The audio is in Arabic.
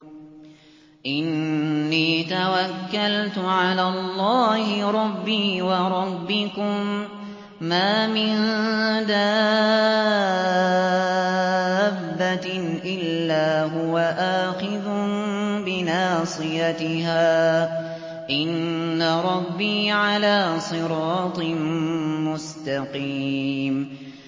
إِنِّي تَوَكَّلْتُ عَلَى اللَّهِ رَبِّي وَرَبِّكُم ۚ مَّا مِن دَابَّةٍ إِلَّا هُوَ آخِذٌ بِنَاصِيَتِهَا ۚ إِنَّ رَبِّي عَلَىٰ صِرَاطٍ مُّسْتَقِيمٍ